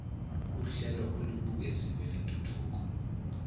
uhlelo olubukeziwe lwentuthuko